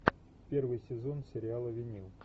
первый сезон сериала винил